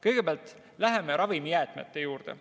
Kõigepealt läheme ravimijäätmete juurde.